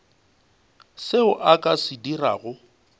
seo a ka se dirago